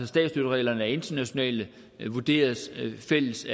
statsstøttereglerne er internationale og vurderes fælles